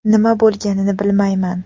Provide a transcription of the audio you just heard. Nima bo‘lganini bilmayman.